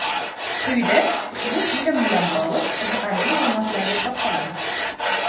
Quyida ushbu film bilan bog‘liq qiziqarli ma’lumotlarga to‘xtalamiz.